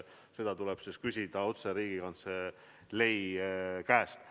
Seda tuleb küsida otse Riigikantselei käest.